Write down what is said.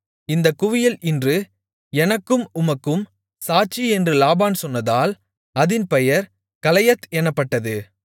இந்தக் குவியல் இன்று எனக்கும் உனக்கும் சாட்சி என்று லாபான் சொன்னதால் அதின் பெயர் கலயெத் எனப்பட்டது